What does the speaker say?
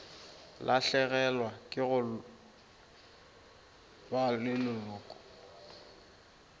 lahlegelwa ke go ba leloko